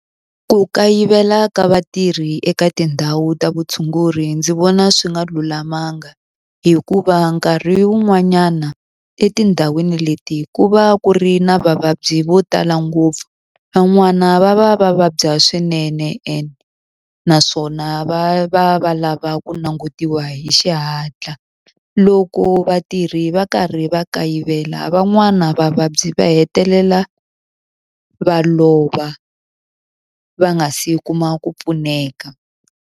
Ku kayivela ka vatirhi eka tindhawu ta vutshunguri ndzi vona swi nga lulamanga. Hikuva nkarhi wun'wanyana etindhawini leti ku va ku ri na vavabyi vo tala ngopfu, van'wana va va va vabya swinene ende naswona va va va lava ku langutiwa hi xihatla. Loko vatirhi va karhi va kayivela van'wana vavabyi va hetelela va lova va nga si kuma ku pfuneka.